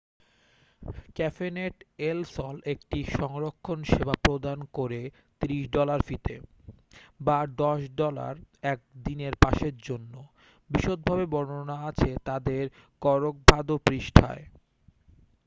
ক্যাফেনেট El Sol একটি সংরক্ষণ সেবা প্রদান করে 30 ডলার ফিতে বা 10 ডলার 1-দিনের পাসের জন্য বিশদভাবে বর্ননা আছে তাদের করকভাদো পৃষ্ঠায়